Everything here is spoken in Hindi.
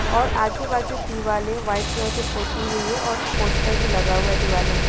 और आजु -बाजू वाइट कलर से दीवाले पोते हुए है और पोस्टर लगा हुआ है दिवालो में--